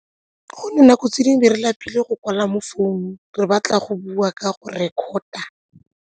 Go nako tse dingwe re lapile go kwala mo founung re batla go bua ka go record-a.